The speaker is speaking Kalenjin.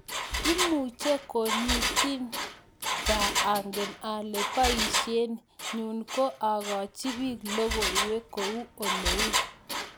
Imuchii konyitin ngaa angen alee paisiet nyun ko agachii piik logoiwek kou oleu